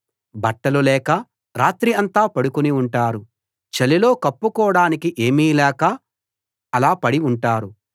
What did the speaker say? బట్టలు లేక రాత్రి అంతా పడుకుని ఉంటారు చలిలో కప్పుకోడానికి ఏమీ లేక అలా పడి ఉంటారు